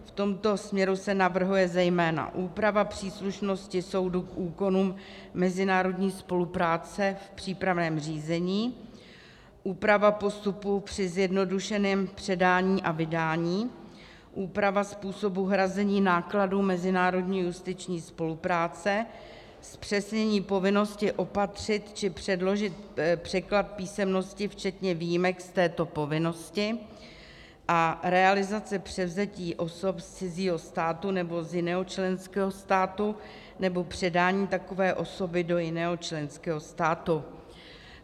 V tomto směru se navrhuje zejména úprava příslušnosti soudu k úkonům mezinárodní spolupráce v přípravném řízení, úprava postupu při zjednodušeném předání a vydání, úprava způsobu hrazení nákladů mezinárodní justiční spolupráce, zpřesnění povinnosti opatřit či předložit překlad písemnosti, včetně výjimek z této povinnosti a realizace převzetí osob z cizího státu nebo z jiného členského státu, nebo předání takové osoby do jiného členského státu.